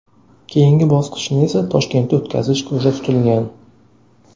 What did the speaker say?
Keyingi bosqichni esa Toshkentda o‘tkazish ko‘zda tutilgan.